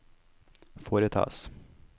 foretas